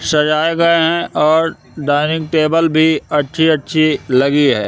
सजाए गए हैं और डाइनिंग टेबल भी अच्छी-अच्छी लगी है।